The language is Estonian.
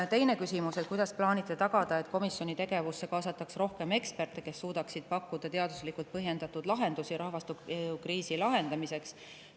Teine küsimus: "Kuidas plaanite tagada, et komisjoni tegevusse kaasatakse rohkem eksperte, kes suudaksid pakkuda teaduslikult põhjendatud lahendusi rahvastikukriisi lahendamiseks?